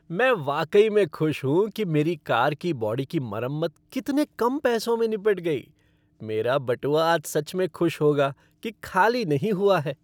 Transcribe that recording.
मैं वाकई में खुश हूँ कि मेरी कार की बॉडी की मरम्मत कितने कम पैसों में निपट गई, मेरा बटुआ आज सच में खुश होगा कि खाली नहीं हुआ है!